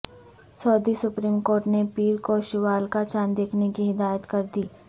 سعودی supreme court نے پیر کو شوال کا چاند دیکھنے کی ہدایت کردی